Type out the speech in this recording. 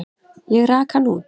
Ég rak hann út.